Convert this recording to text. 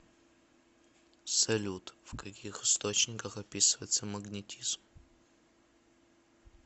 салют в каких источниках описывается магнетизм